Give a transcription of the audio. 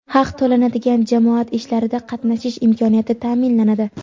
haq to‘lanadigan jamoat ishlarida qatnashish imkoniyati taʼminlanadi.